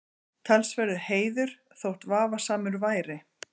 Talsverður heiður, þótt vafasamur væri.